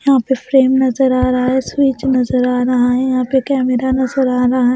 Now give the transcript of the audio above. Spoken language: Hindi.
यहाँ पे फ्रेम नजर आ रहा है स्विच नजर आ रहा है यहाँ पे कैमरा नजर आ रहा है।